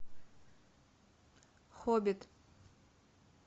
хоббит